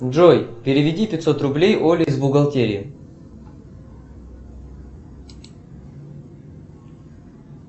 джой переведи пятьсот рублей оле из бухгалтерии